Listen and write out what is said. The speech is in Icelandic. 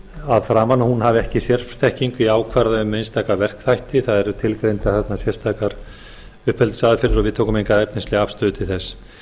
að framan að hún hafi ekki sérfræðiþekkingu til að ákvarða um einstaka verkefnaþætti það eru tilgreindar þarna sérstakar uppeldisaðferðir og við tökum enga efnislega afstöðu til þess